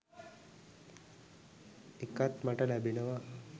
එකක් මට ලැබෙනවා